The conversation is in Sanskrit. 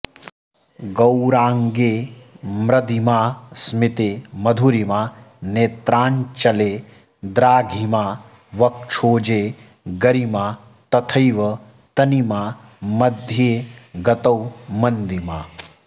गौराङ्गे म्रदिमा स्मिते मधुरिमा नेत्राञ्चले द्राघिमा वक्षोजे गरिमा तथैव तनिमा मध्ये गतौ मन्दिमा